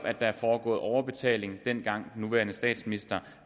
at der er foregået overbetaling dengang den nuværende statsminister